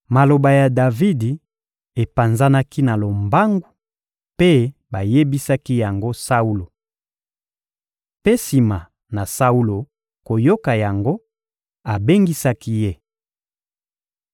Maloba ya Davidi epanzanaki na lombangu, mpe bayebisaki yango Saulo. Mpe sima na Saulo koyoka yango, abengisaki ye.